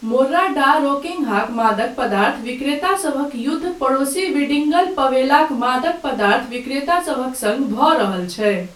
Morro da रोकिन्हाक मादक पदार्थ विक्रेतासभक युद्ध पड़ोसी विडिगल पवेलाक मादक पदार्थ विक्रेतासभ सङ्ग भऽ रहल छै।